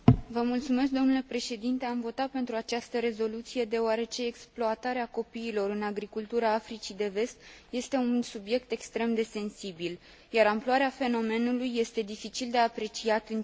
Am votat pentru această rezoluție, deoarece exploatarea copiilor în agricultura Africii de Vest este un subiect extrem de sensibil, iar amploarea fenomenului este dificil de apreciat în cifre.